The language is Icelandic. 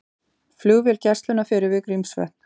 Flugvél Gæslunnar fer yfir Grímsvötn